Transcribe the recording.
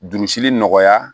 Jurusili nɔgɔya